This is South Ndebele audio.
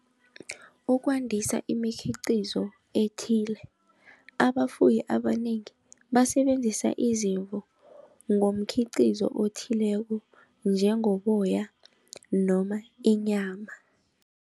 Ukwandisa imikhiqizo ethile, abafuyi abanengi basebenzisa izimvu ngomkhiqizo othileko njengoboya noma inyama.